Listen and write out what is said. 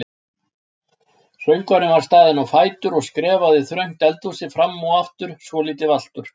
Söngvarinn var staðinn á fætur og skrefaði þröngt eldhúsið fram og aftur svolítið valtur.